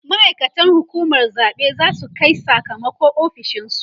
ma'aikatan hukumar zaɓe zasu Kai Saka mako ofishinsu